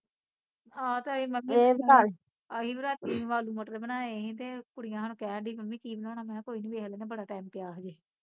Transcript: ਆਹੋ ਤੇ ਅਸੀਂ ਮੰਮੀ ਅਸੀਂ ਵੀ ਰਾਤੀ ਆਲੂ ਮਟਰ ਬਣਾਏ ਸੀ ਤੇ ਕੁੜੀਆਂ ਹੁਣ ਕਹਿਣ ਡਈ ਮੰਮੀ ਕੀ ਬਣਾਉਣਾ ਮੈਂ ਕਿਹਾ ਕੋਈ ਨੀ ਦੇਖ ਲੈਂਦੇ ਬੜਾ ਟੈਮ ਪਿਆ ਹਜੇ